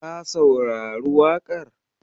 Ka saurari waƙar?